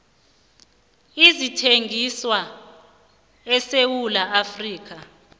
ezithengiswa esewula afrika